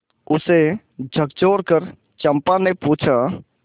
उसे झकझोरकर चंपा ने पूछा